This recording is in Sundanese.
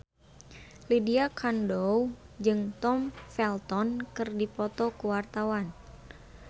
Lydia Kandou jeung Tom Felton keur dipoto ku wartawan